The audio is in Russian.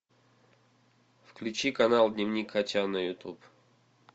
включи канал дневник хача на ютуб